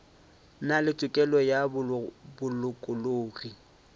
na le tokelo ya bolokologi